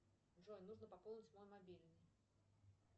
джой нужно пополнить мой мобильный